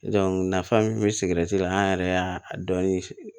nafa min be sigi la an yɛrɛ y'a dɔn si